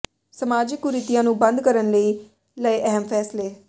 ਸਮਾਜਿਕ ਕੁਰੀਤੀਆਂ ਨੂੰ ਬੰਦ ਕਰਨ ਲਈ ਲਏ ਅਹਿਮ ਫ਼ੈਸਲੇ